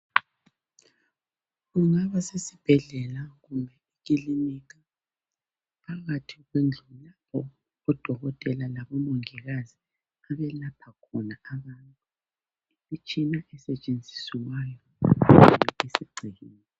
Kungaba sesibhedlela kumbe ekilinika phakathi kwendlu odokotela labomongikazi abelapha khona abantu, imitshina esetshenziswayo isigcwele.